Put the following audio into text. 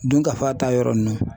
Dunkafa ta yɔrɔ ninnu